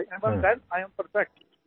even then I am perfect